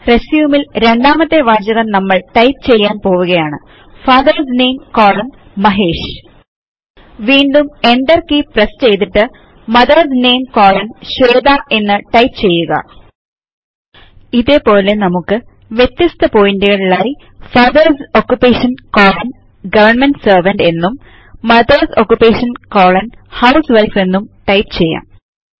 resumeൽ രണ്ടാമത്തെ വാചകം നമ്മൾ ടൈപ്പ് ചെയ്യാൻ പോവുകയാണ് ഫാദർസ് നാമെ കോളൻ മഹേഷ് വീണ്ടും Enter കീ പ്രസ് ചെയ്തിട്ട് മദർസ് നാമെ കോളൻ ശ്വേത എന്ന് ടൈപ്പ് ചെയ്യുക ഇതേപോലെ നമുക്ക് വ്യത്യസ്ത പോയിന്റുകളിലായി father's occupation colon government servant എന്നും മദർസ് ഓക്കുപേഷൻ കോളൻ ഹൌസ്വിഫ് എന്നും ടൈപ്പ് ചെയ്യാം